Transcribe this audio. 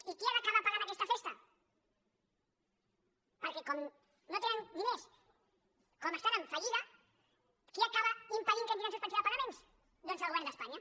i qui ha d’acabar pagant aquesta festa perquè com que no tenen diners com que estan en fallida qui acaba impedint que entrin en suspensió de pagaments doncs el govern d’espanya